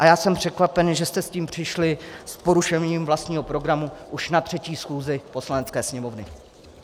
A já jsem překvapen, že jste s tím přišli s porušením vlastního programu už na třetí schůzi Poslanecké sněmovny.